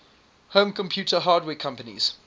home computer hardware companies